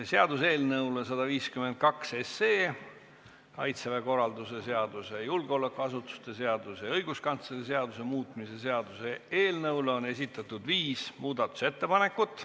Seaduseelnõu 152, Kaitseväe korralduse seaduse, julgeolekuasutuste seaduse ja õiguskantsleri seaduse muutmise seaduse eelnõu kohta on esitatud viis muudatusettepanekut.